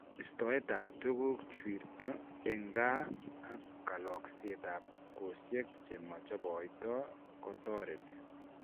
Istoet ab tuguk chwirto eng' kaa ak kalokseet ab kosyek chemachoboitoo kotoretii